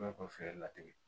fɛɛrɛ latigɛ